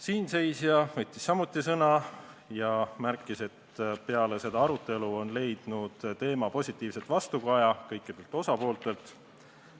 Siinseisja võttis samuti sõna ja märkis, et peale seda arutelu on leidnud teema positiivset vastukaja kõikidelt osapooltelt.